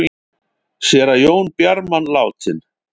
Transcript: Séra Jón Bjarman látinn